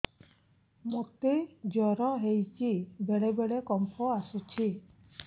ମୋତେ ଜ୍ୱର ହେଇଚି ବେଳେ ବେଳେ କମ୍ପ ଆସୁଛି